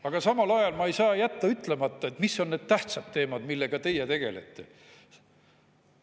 Aga samal ajal ma ei saa jätta ütlemata, mis on need tähtsad teemad, millega teie tegelete.